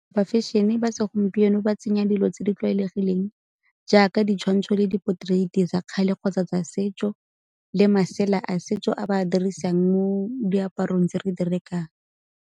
Ba fashion-e ba segompieno ba tsenya dilo tse di tlwaelegileng jaaka ditshwantsho le di-potrait-e tsa kgale kgotsa tsa setso le masela a setso a ba a dirisang mo diaparong tse re di rekang.